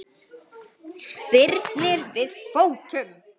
Spyrnir við fótum.